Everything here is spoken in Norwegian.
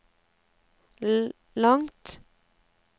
langt